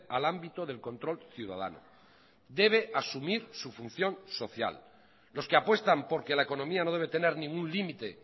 al ámbito del control ciudadano debe asumir su función social los que apuestan porque la economía no debe tener ningún límite